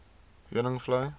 heuningvlei